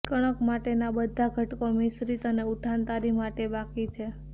કણક માટેના બધા ઘટકો મિશ્રિત અને ઉઠાંતરી માટે બાકી છે